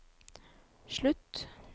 slutt